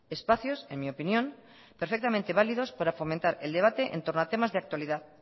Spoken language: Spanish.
espacios en mi opinión perfectamente válidos para fomentar el debate entorno a temas de actualidad